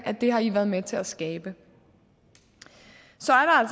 at det har i været med til at skabe så